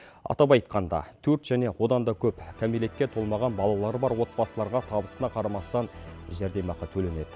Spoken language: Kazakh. атап айтқанда төрт және одан да көп кәмелетке толмаған балалары бар отбасыларға табысына қарамастан жәрдемақы төленеді